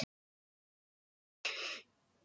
Hækkunin er þá framkvæmd með þessum hætti.